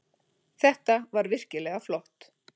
Þetta var virkilega flott.